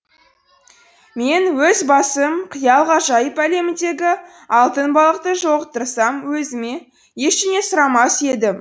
мен өз басым қиял ғажайып әлеміндегі алтын балықты жолықтырсам өзіме ештеңе сұрамас едім